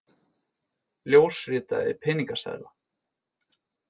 Ljósritaði peningaseðla